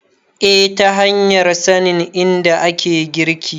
eh ta hanyar sanin inda ake girki